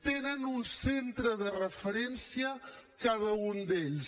tenen un centre de referència cada un d’ells